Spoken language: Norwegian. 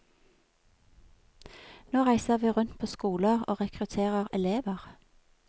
Nå reiser vi rundt på skoler og rekrutterer elever.